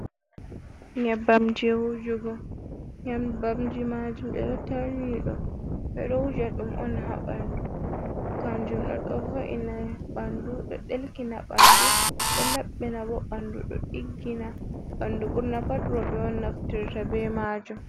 Nyembam wujugo nyambamji majum be do tarni ɗum be do wuja dum on ha bandu, kanjum do do vo’ina bandu do ɗelkina bandu, do labbina bandu, do diggina bandu, burna pat robe on naftirta be majum.